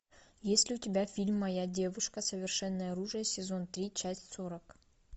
есть ли у тебя фильм моя девушка совершенное оружие сезон три часть сорок